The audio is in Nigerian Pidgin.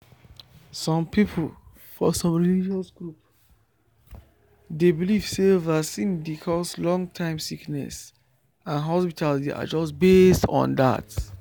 some people for some religious group dey believe say vaccine dey cause long-term sickness and hospitals dey adjust based on that.